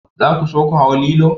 Za ku so ku hau lilo?